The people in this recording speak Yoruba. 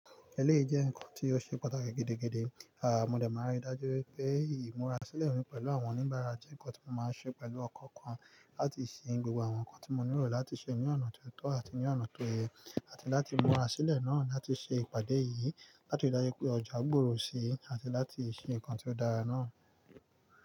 Ẹlẹ́yi jẹ́ nǹkan tí ó ṣe pàtàkì gidi gidi. Mo de máa ń rí i dájú wípé ìmúra sílẹ̀ mi pẹ̀lú àwọn oníbàárà jẹ́ nǹkan tí mo máa ń ṣe pẹ̀lú ọkan kan láti ṣe gbogbo àwọn nǹkan tí mo nílò láti ṣe ní ọ̀nà tó tọ́ àti ní ọ̀nà tó yẹ, àti láti múra sílẹ̀ náà láti ṣe ìpàdé yìí láti rí i dájú pé ọjà gbòòrò síi àti láti ṣe nǹkan tí ó dára náà.